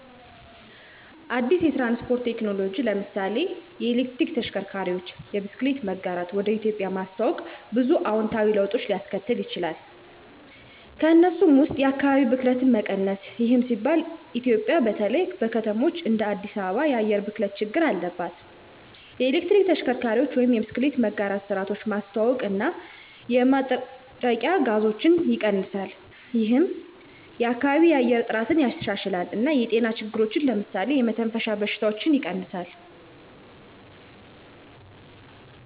አዲስ የትራንስፖርት ቴክኖሎጂን (ለምሳሌ የኤሌክትሪክ ተሽከርካሪዎች፣ የብስክሌት መጋራት) ወደ ኢትዮጵያ ማስተዋወቅ ብዙ አዎንታዊ ለውጦችን ሊያስከትል ይችላል። ከእነሱም ውስጥ የአካባቢ ብክለት መቀነስ ይህም ሲባል ኢትዮጵያ በተለይ በከተማዎች እንደ አዲስ አበባ የአየር ብክለት ችግር አለባት። የኤሌክትሪክ ተሽከርካሪዎች ወይም የብስክሌት መጋራት ስርዓቶች ማስተዋውቀው እና የማጥረቂያ ጋዞችን ይቀንሳል። ይህም የከባቢያዊ የአየር ጥራትን ያሻሽላል እና የጤና ችግሮችን (ለምሳሌ የመተንፈሻ በሽታዎች) ይቀንሳል።